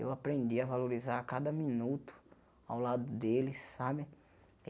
Eu aprendi a valorizar cada minuto ao lado deles sabe.